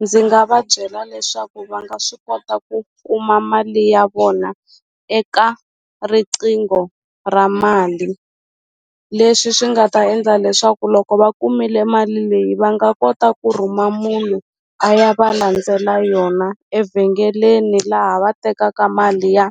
Ndzi nga va byela leswaku va nga swi kota ku kuma mali ya vona eka riqingho ra mali leswi swi nga ta endla leswaku loko va kumile mali leyi va nga kota ku rhuma munhu a ya va landzela yona evhengeleni laha va tekaka mali ya